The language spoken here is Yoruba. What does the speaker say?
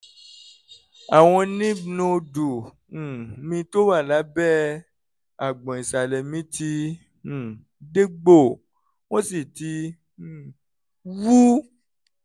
àwọn lymph noòdù um mi tó wà lábẹ́ àgbọ̀n ìsàlẹ̀ mi ti um dégbò wọ́n sì ti um wú